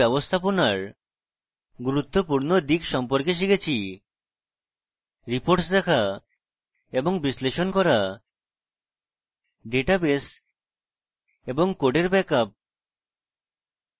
in tutorial site ব্যবস্থাপনার গুরুত্বপূর্ণ দিক সম্পর্কে শিখেছি: reports দেখা এবং বিশ্লেষণ করা ডাটাবেস এবং কোডের ব্যাকআপ